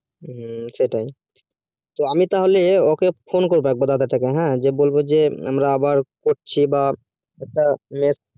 ও সেটাই তো আমি তাহলে phone করবো দাদা তা কে যে আমরা আবার করছি বা next